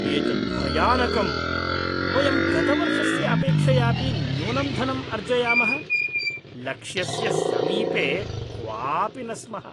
एतत् भयानकम्! वयं गतवर्षस्य अपेक्षयापि न्यूनं धनम् अर्जयामः, लक्ष्यस्य समीपे क्वापि न स्मः।